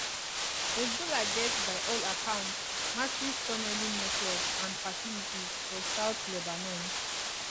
hezbollah get by all accounts massive tunnelling networks and facilities for south lebanon